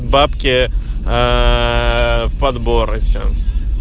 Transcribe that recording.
бабки аа в подбор и все